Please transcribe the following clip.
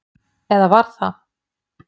Eða var það?